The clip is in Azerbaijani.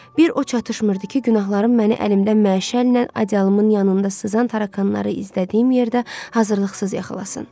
Bir o çatışmırdı ki, günahlarım məni əlimdən məşəllə acalımın yanında sızan tarakanları izlədiyim yerdə hazırlıqsız yıxılasın.